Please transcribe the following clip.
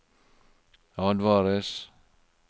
advares